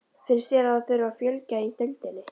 Finnst þér að það þurfi að fjölga í deildinni?